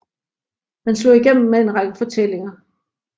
Han slog igennem med en række fortællinger